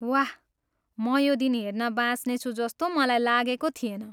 वाह, म यो दिन हेर्न बाँच्नेछु जस्तो मलाई लागेको थिएन।